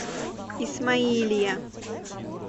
исмаилия